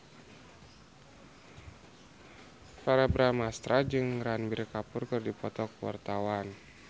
Verrell Bramastra jeung Ranbir Kapoor keur dipoto ku wartawan